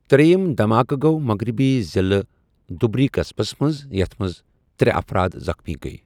ترٛیِم دھماکہٕ گوٚو مغربی ضِلعہٕ دٗبری قسبس منٛز یَتھ منٛز ترٛےٚ افراد زخمی گٔیہِ۔